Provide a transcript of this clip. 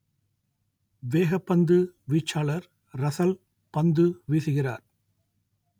வேகப்பந்து வீச்சாளர் ரசல் பந்து வீசுகிறார்